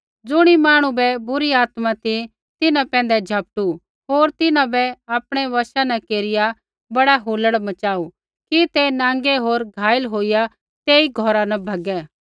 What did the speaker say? ज़ुणी मांहणु बै बुरी आत्मा ती तिन्हां पैंधै झपटू होर तिन्हां बै आपणै वशा न केरिया बड़ा हुलड़ मचाऊ कि ते नाँगै होर घायल होईया तेई घौरा न भैगै